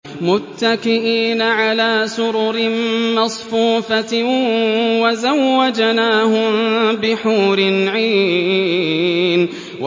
مُتَّكِئِينَ عَلَىٰ سُرُرٍ مَّصْفُوفَةٍ ۖ وَزَوَّجْنَاهُم بِحُورٍ عِينٍ